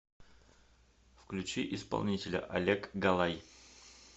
включи исполнителя олег галай